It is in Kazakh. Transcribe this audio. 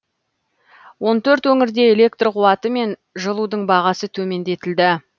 он төрт өңірде электр қуаты мен жылудың бағасы төмендетілді